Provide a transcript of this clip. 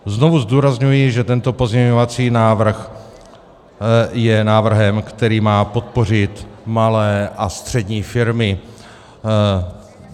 Znovu zdůrazňuji, že tento pozměňovací návrh je návrhem, který má podpořit malé a střední firmy.